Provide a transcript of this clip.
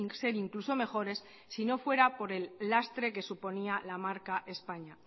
ser incluso mejores sino fuera por el lastre que suponía la marca españa